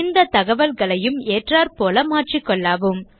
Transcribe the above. இந்த தகவல்களையும் ஏற்றாற்போல் மாற்றிக்கொள்ளவும்